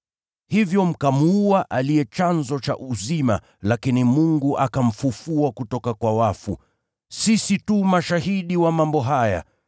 Hivyo mkamuua aliye chanzo cha uzima, lakini Mungu akamfufua kutoka kwa wafu. Sisi tu mashahidi wa mambo haya.